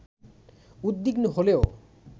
উদ্বিগ্ন হলেও